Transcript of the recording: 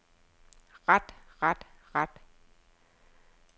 ret ret ret